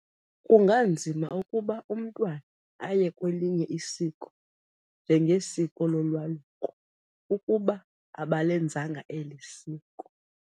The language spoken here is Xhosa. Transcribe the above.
Kunganzima ukuba umntwana aye kwelinye isiko njenge siko lolwaluko ukuba abalenzanga eli siko.